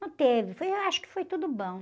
Não teve, foi, eu acho que foi tudo bom.